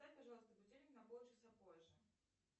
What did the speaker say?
поставь пожалуйста будильник на полчаса позже